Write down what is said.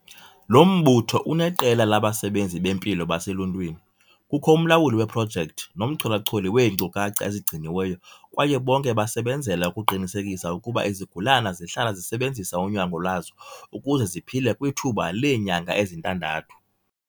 Lo mbutho uneqela labasebenzi bempilo baseluntwini, kukho umlawuli weprojekthi nomchola-choli weenkcukacha ezigciniweyo kwaye bonke basebenzela ukuqinisekisa ukuba izigulana zihlala zisebenzisa unyango lwazo ukuze ziphile kwithuba leenyanga ezintandathu.